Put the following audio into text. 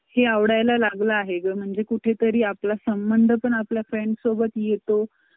हां